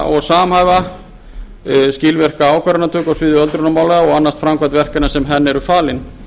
og samhæfa skilvirka ákvörðunartöku á sviði öldrunarmála og annast framkvæmd verkefna sem henni eru falin